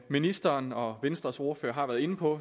ministeren og venstres ordfører har været inde på